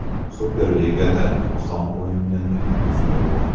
Superligada oson o‘yinning o‘zi yo‘q.